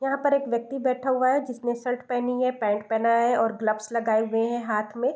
यहाँ पर एक व्यक्ति बैठा हुआ है जिसने शर्ट पहनी है पैंट पहना है और ग्लव्स लगाए हुए हैं हाथ में।